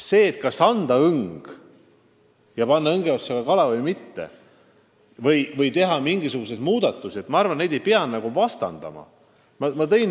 Seda, kas anda õng ja panna õnge otsa ka kala või mitte, või teha mingisuguseid muudatusi – ma arvan, neid ei peaks vastandama.